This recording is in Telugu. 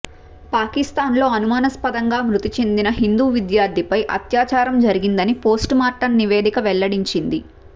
పాకిస్తాన్లో అనుమానాస్పదంగా మృతి చెందిన హిందూ విద్యార్థినిపై అత్యాచారం జరిగిందని పోస్ట్మార్టం నివేదిక వెల్లడించింది